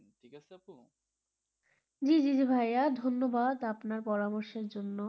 জী জী ভাইয়া ধন্যবাদ আপনার পরামর্শের জন্য,